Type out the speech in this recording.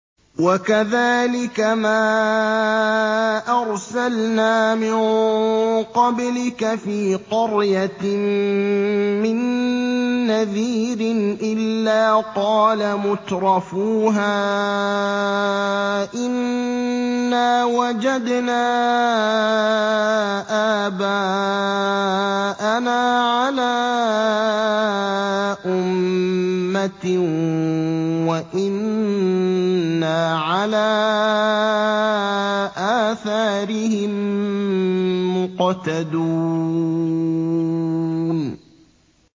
وَكَذَٰلِكَ مَا أَرْسَلْنَا مِن قَبْلِكَ فِي قَرْيَةٍ مِّن نَّذِيرٍ إِلَّا قَالَ مُتْرَفُوهَا إِنَّا وَجَدْنَا آبَاءَنَا عَلَىٰ أُمَّةٍ وَإِنَّا عَلَىٰ آثَارِهِم مُّقْتَدُونَ